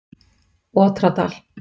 Otradal